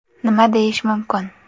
Nima deyish mumkin?